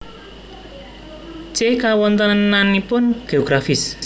C Kawontenanipun Geografis